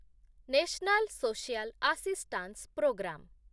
national social assistance programme